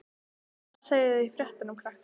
Hvað segið þið í fréttum, krakkar?